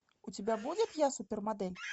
у тебя будет я супермодель